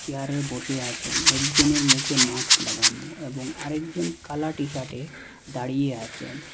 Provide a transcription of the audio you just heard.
চেয়ারে বসে আছেন একজনের মুখে মাক্স লাগানো এবং আরেকজন কালা টি-শার্টে দাঁড়িয়ে আছেন।